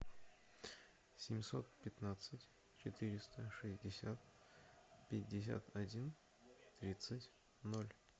семьсот пятнадцать четыреста шестьдесят пятьдесят один тридцать ноль